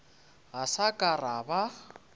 ga sa ka ra ba